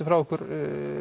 frá ykkur